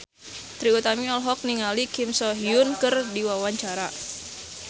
Trie Utami olohok ningali Kim So Hyun keur diwawancara